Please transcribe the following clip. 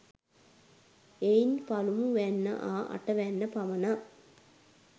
එයින් පළමුවැන්න හා අටවැන්න පමණක්